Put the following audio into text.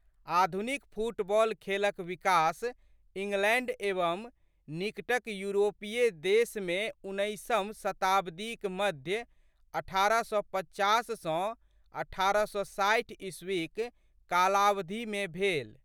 आधुनिक फुटबॉल खेलक विकास इंगलैंड एवं निकटक यूरोपीय देशमे उन्नैसम शताब्दीक मध्य अठारह सय पचास सँ अठारह सए साठि ईस्वी'क कालावधिमे भेल।